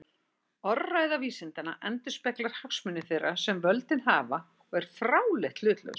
Orðræða vísindanna endurspeglar hagsmuni þeirra sem völdin hafa og er fráleitt hlutlaus.